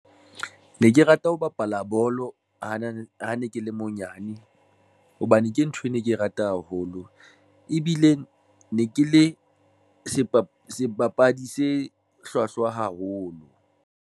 Ne ke rata ho bapala bolo, ho na le ha ne ke le monyane hobane ke ntho e ne ke e rata haholo ebile ne ke le sebapadi se hlwahlwa haholo.